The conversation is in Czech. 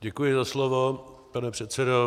Děkuji za slovo, pane předsedo.